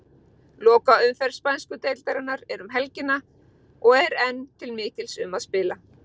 Lokaumferð spænsku deildarinnar er um helgina og er enn til mikils um að spila.